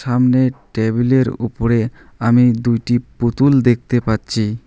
সামনে টেবিলের উপরে আমি দুইটি পুতুল দেখতে পাচ্ছি।